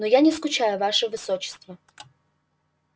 но я не скучаю ваше высочество